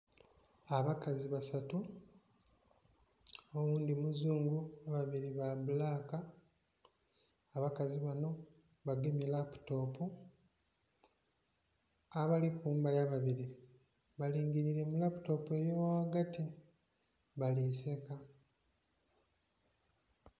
Abakazi basatu oghundhi muzungu ababiri ba bbulaka abakazi bano bagemye laputopu abali kumbali ababiri balingirire mulaputopu eyo ghaghagati bali seka.